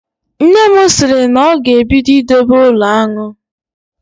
Nne m sịrị na ọ ga-ebido idobe ụlọ aṅụ